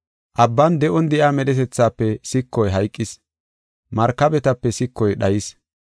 Abban de7on de7iya medhetethaafe sikoy hayqis; markabetape sikoy dhayis.